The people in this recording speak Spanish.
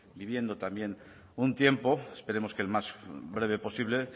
viviendo también un tiempo esperemos que el más breve posible